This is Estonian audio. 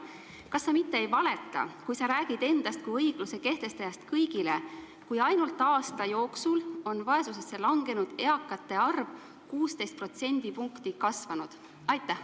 Kas sa mitte ei valeta, kui sa räägid endast kui õigluse kehtestajast kõigile, kui ainult aasta jooksul on vaesusesse langenud eakate arv 16% võrra kasvanud?